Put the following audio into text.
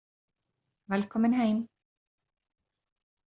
Velkomin heim.